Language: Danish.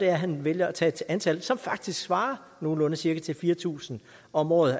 at han vælger at tage et antal som faktisk svarer nogenlunde til til fire tusind om året